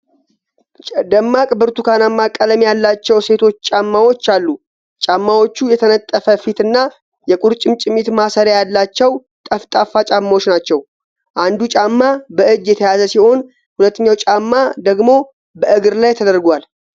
ደማቅ ብርቱካንማ ቀለም ያላቸው ሴቶች ጫማዎች አሉ። ጫማዎቹ የተነጠፈ ፊት እና የቁርጭምጭሚት ማሰሪያ ያላቸው ጠፍጣፋ ጫማዎች ናቸው። አንዱ ጫማ በእጅ የተያዘ ሲሆን፣ ሁለተኛው ጫማ ደግሞ በእግር ላይ ተደርጎዋል።